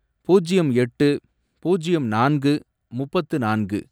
பூஜ்யம் எட்டு, பூஜ்யம் நான்கு, முப்பத்து நான்கு